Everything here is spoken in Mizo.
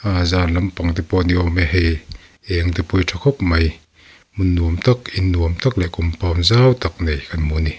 a zan lampang te pawh ni awm e hei eng te pawh hi tha khawp mai hmun nuam tak in nuam tak leh compound zau tak nei kan hmu a ni.